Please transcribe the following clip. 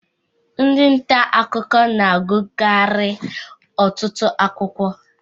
Ndị nta akụkọ na agukari ọtụtụ akwụkwọ.